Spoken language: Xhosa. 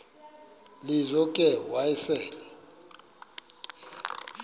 lizo ke wayesel